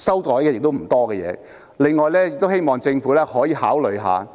此外，我希望政府可以考慮在